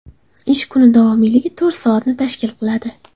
Ish kuni davomiyligi to‘rt soatni tashkil qiladi.